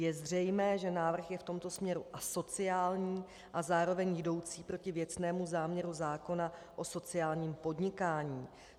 Je zřejmé, že návrh je v tomto směru asociální a zároveň jdoucí proti věcnému záměru zákona o sociálním podnikání.